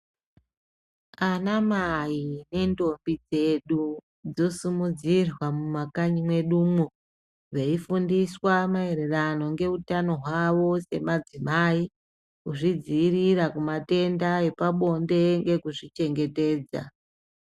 Ana mai ne ndombi dzedu dzo simudzirwa mu makanyi mwedumwo veyi fundiswa maererano nge utano hwavo se madzimai kuzvi dzivirira ku matenda epa bonde ngeku zvi chengetedza.